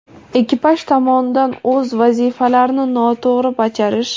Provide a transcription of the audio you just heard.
ekipaj tomonidan o‘z vazifalarni noto‘g‘ri bajarish;.